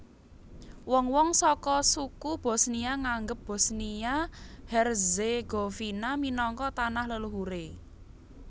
Wong wong saka suku Bosnia nganggep Bosnia Herzegovina minangka tanah leluhuré